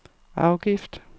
afgift